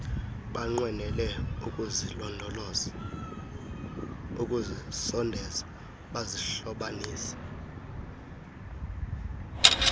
banqwenele ukuzisondeza bazihlobanise